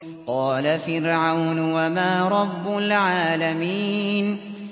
قَالَ فِرْعَوْنُ وَمَا رَبُّ الْعَالَمِينَ